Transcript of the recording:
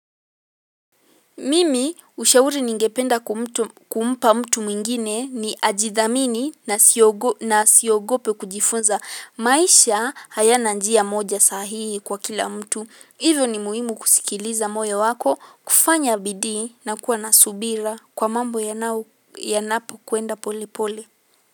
Mimi ushauri ningependa kumpa mtu mwingine ni, ajidhamini na asiogope kujifunza. Maisha hayana njia moja saa hii kwa kila mtu. Hivyo ni muhimu kusikiliza moja wako. Kufanya bidii, na kuwa na subira kwa mambo yanapokwenda pole pole.